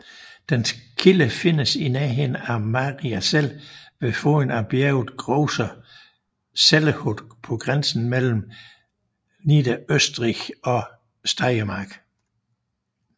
Dens kilde findes i nærheden af Mariazell ved foden af bjerget Großer Zellerhut på grænsen mellem Niederösterreich og Steiermark